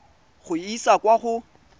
go e isa kwa go